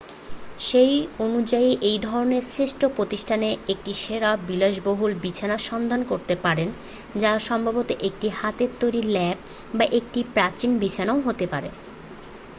সেই অনুযায়ী এই ধরনের শ্রেষ্ঠ প্রতিষ্ঠানে একটি সেরা বিলাসবহুল বিছানা সন্ধান করতে পারেন যা সম্ভবত একটি হাতে তৈরি লেপ বা একটি প্রাচীন বিছানাও হতে পারে